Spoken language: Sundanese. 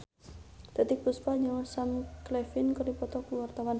Titiek Puspa jeung Sam Claflin keur dipoto ku wartawan